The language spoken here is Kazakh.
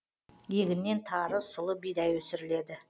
егіннен тары сұлы бидай өсіріледі